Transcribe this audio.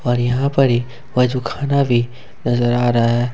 और यहां पर ही वजूखाना भी नजर आ रहा हैं।